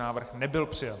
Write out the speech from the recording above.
Návrh nebyl přijat.